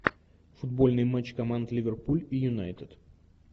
футбольный матч команд ливерпуль и юнайтед